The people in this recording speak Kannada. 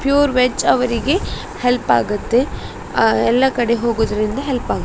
ಪ್ಯೂರ್ ವೆಜ್ ಅವರಿಗೆ ಹೆಲ್ಪ್ ಆಗುತ್ತೆ ಆ ಎಲ್ಲ ಕಡೆ ಹೋಗೋದ್ರಿಂದ ಹೆಲ್ಪ್ ಆಗುತ್ತೆ .